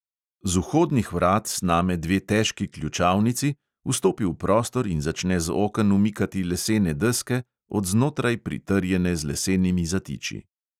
Z vhodnih vrat sname dve težki ključavnici, vstopi v prostor in začne z oken umikati lesene deske, od znotraj pritrjene z lesenimi zatiči.